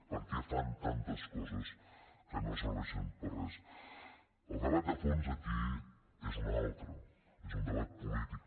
per què fan tantes coses que no serveixen per a res el debat de fons aquí és un altre és un debat polític